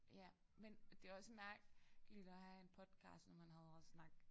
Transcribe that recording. Ja men det også mærkeligt at have en podcast når man hader at snakke